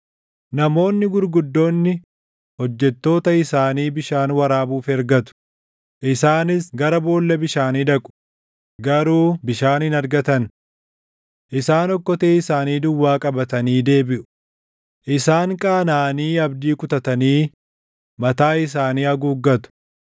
Namoonni gurguddoonni hojjettoota isaanii bishaan waraabuuf ergatu; isaanis gara boolla bishaanii dhaqu; garuu bishaan hin argatan. Isaan okkotee isaanii duwwaa qabatanii deebiʼu; isaan qaanaʼanii abdii kutatanii mataa isaanii haguuggatu.